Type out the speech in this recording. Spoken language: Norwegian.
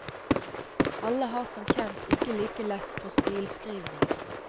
Alle har som kjent ikke like lett for stilskrivning.